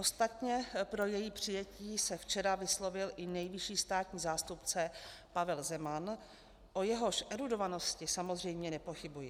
Ostatně pro její přijetí se včera vyslovil i nejvyšší státní zástupce Pavel Zeman, o jehož erudovanosti samozřejmě nepochybuji.